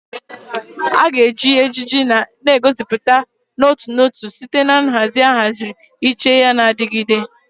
A ga-eji ejiji na-egosipụta n'otu n'otu site na nhazi ahaziri iche yana na-adigide.